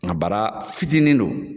Nga bara fitinin don